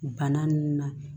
Bana nunnu na